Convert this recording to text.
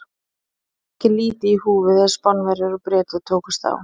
Það var því ekki lítið í húfi þegar Spánverjar og Bretar tókust á.